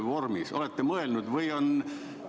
Kas olete selle peale mõelnud?